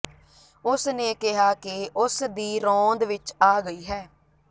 ਉਸ ਨੇ ਕਿਹਾ ਕਿ ਉਸ ਦੀ ਰੋਂਦ ਵਿਚ ਆ ਗਈ ਹੈ